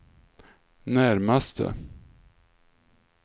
närmaste